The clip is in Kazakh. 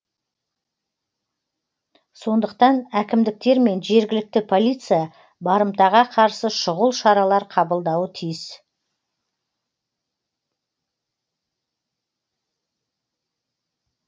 сондықтан әкімдіктер мен жергілікті полиция барымтаға қарсы шұғыл шаралар қабылдауы тиіс